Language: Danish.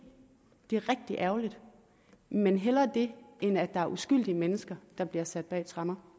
det er rigtig ærgerligt men hellere det end at der er uskyldige mennesker der bliver sat bag tremmer